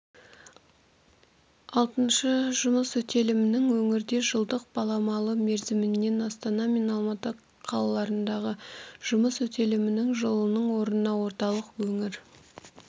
алтыншы жұмыс өтелімінің өңірде жылдық баламалы мерзімімен астана мен алматы қалаларындағы жұмыс өтелімінің жылының орнына орталық-өңір